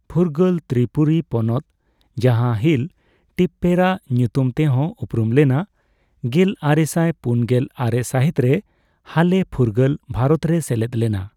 ᱯᱷᱩᱨᱜᱟᱹᱞ ᱛᱨᱤᱯᱩᱨᱤ ᱯᱚᱱᱚᱛ, ᱡᱟᱦᱟᱸ ᱦᱤᱞ ᱴᱤᱯᱯᱮᱨᱟ ᱧᱩᱛᱩᱢ ᱛᱮᱦᱚᱸ ᱩᱯᱨᱩᱢ ᱞᱮᱱᱟ, ᱜᱮᱞ ᱟᱨᱮᱥᱟᱭ ᱯᱩᱱᱜᱮᱞ ᱟᱨᱮ ᱥᱟᱹᱦᱤᱛ ᱨᱮ ᱦᱟᱞᱮ ᱯᱷᱩᱨᱜᱟᱹᱞ ᱵᱷᱟᱨᱚᱛᱨᱮᱭ ᱥᱮᱞᱮᱫ ᱞᱮᱱᱟ ᱾